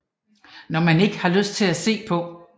Noget man ikke har lyst til at se på